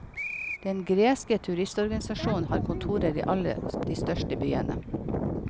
Den greske turistorganisasjonen har kontorer i alle de største byene.